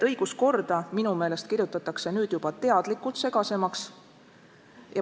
Õiguskorda minu meelest kirjutatakse nüüd juba teadlikult segasemaks.